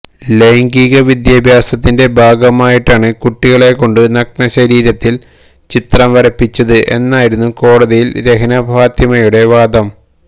ലൈംഗിക വിദ്യാഭ്യാസത്തിന്റെ ഭാഗമായിട്ടാണ് കുട്ടികളെ കൊണ്ട് നഗ്ന ശരീരത്തിൽ ചിത്രം വരപ്പിച്ചത് എന്നായിരുന്നു കോടതിയിൽ രഹ്ന ഫാത്തിമയുടെ വാദം